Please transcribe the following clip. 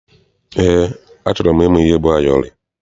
Eé, achọrọ m ịma ihe bụ ayọrị.